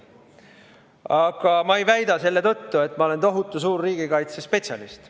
Aga ma ei väida selle tõttu, et ma olen tohutu suur riigikaitsespetsialist.